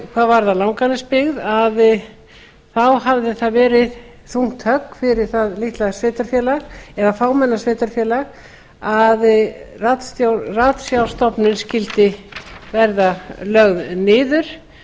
hvað varðar langanesbyggð hafði það verið þungt högg fyrir það litla sveitarfélag eða fámenna sveitarfélag að ratsjárstofnun skyldi verða lögð niður